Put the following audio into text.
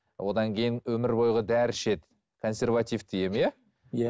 одан кейін өмір бойғы дәрі ішеді консервативті ем иә иә